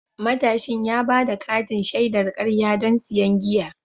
Matashin ya ba da katin shaidar karya don siyan giya.